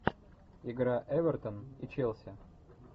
игра эвертон и челси